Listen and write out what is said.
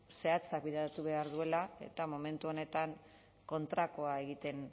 zehatzak bideratu behar dituela eta momentu honetan kontrakoa egiten